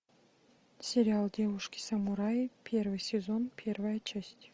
сериал девушки самураи первый сезон первая часть